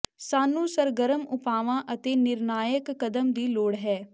ਸਾਨੂੰ ਸਰਗਰਮ ਉਪਾਵਾਂ ਅਤੇ ਨਿਰਣਾਇਕ ਕਦਮ ਦੀ ਲੋੜ ਹੈ